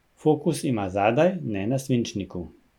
Fokus ima zadaj, ne na svinčniku.